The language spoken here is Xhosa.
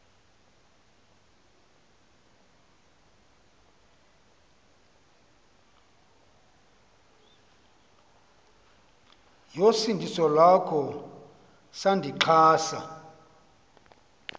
yosindiso iwakho sandixhasa